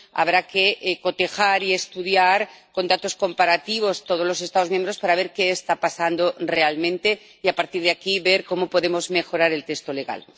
Habrá que cotejar y estudiar con datos comparativos todos los Estados miembros para ver qué está pasando realmente y a partir de aquí ver cómo podemos mejorar el texto legal.